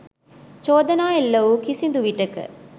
චෝදනා එල්ල වූ කිසිදු විටෙක